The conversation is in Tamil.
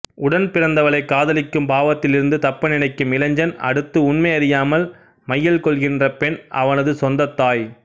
உடன்பிறந்தவளை காதலிக்கும் பாவத்திலிருந்து தப்ப நினைக்கும் இளைஞன் அடுத்து உண்மை அறியாமல் மையல்கொள்கின்றபெண் அவனதுச் சொந்தத்தாய்